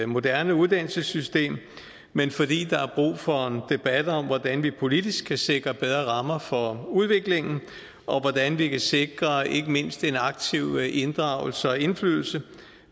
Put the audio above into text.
moderne uddannelsessystem men fordi der er brug for en debat om hvordan vi politisk kan sikre bedre rammer for udviklingen og hvordan vi kan sikre ikke mindst en aktiv inddragelse og indflydelse